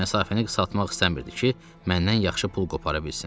Məsafəni qısaltmaq istəmirdi ki, məndən yaxşı pul qopara bilsin.